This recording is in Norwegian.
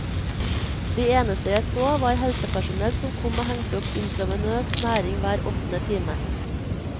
De eneste jeg så, var helsepersonell som kom og hengte opp intravenøs næring hver åttende time.